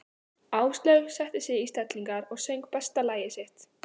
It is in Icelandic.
Áslaug setti sig í stellingar og söng besta lagið sitt.